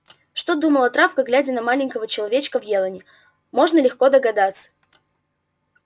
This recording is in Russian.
что думала травка глядя на маленького человечка в елани можно легко догадаться